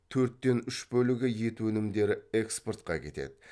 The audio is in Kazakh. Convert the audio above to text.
төрттен үш бөлігі ет өнімдері экспортқа кетеді